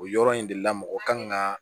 O yɔrɔ in de la mɔgɔ kan ka